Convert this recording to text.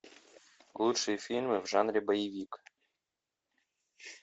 лучшие фильмы в жанре боевик